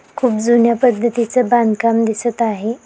खूप जुन्या पद्धतीचं बांधकाम दिसत आहे.